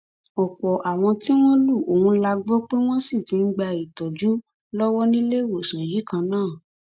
ọpọ àwọn tí wọn lu ohùn la gbọ pé wọn ṣì ń gba ìtọjú lọwọ níléewọsán yìí kan náà